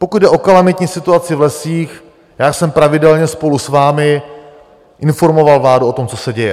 Pokud jde o kalamitní situaci v lesích, já jsem pravidelně spolu s vámi informoval vládu o tom, co se děje.